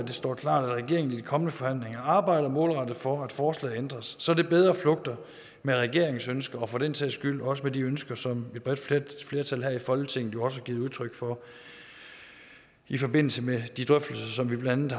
det står klart at regeringen i de kommende forhandlinger arbejder målrettet for at forslaget ændres så det bedre flugter med regeringens ønsker og for den sags skyld også med de ønsker som et bredt flertal her i folketinget også har givet udtryk for i forbindelse med de drøftelser som vi blandt